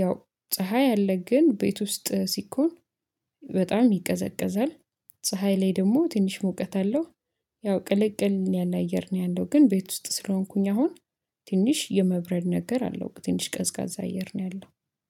ያው ፀሀይ አለ ግን ቤት ውስጥ ሲኮን በጣም ይቀዘቅዛል። ፀሀይ ላይ ደግሞ ትንሽ ሙቀት አለው። ያው ቅልቅል ያለ አየር ነው ያለው ግን ቤት ውስጥ ስለሆንኩኝ አሁን ትንሽ የመብረድ ነገር አለው ትንሽ ቀዝቃዛ አየር ነው ያለው